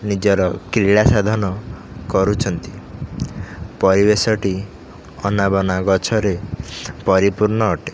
ନିଜର କ୍ରୀଡା ସାଧନ କରୁଛନ୍ତି ପରିବେଶଟି ଅନାବନା ଗଛରେ ପରିପୂର୍ଣ୍ଣ ଅଟେ।